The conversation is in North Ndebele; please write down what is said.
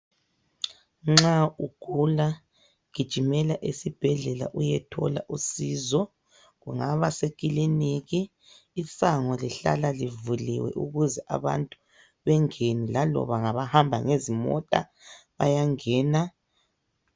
Nxa ugula gijimela esibhedlela uyethola usizo kungaba sekiliniki isango lihlala livuliwe ukuze abantu bengene laloba ngabahamba ngezimota bayangena.